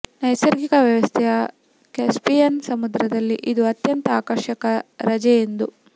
ನೈಸರ್ಗಿಕ ವ್ಯವಸ್ಥೆಯ ಕ್ಯಾಸ್ಪಿಯನ್ ಸಮುದ್ರದಲ್ಲಿ ಇದು ಅತ್ಯಂತ ಆಕರ್ಷಕ ರಜೆ ಎಂದು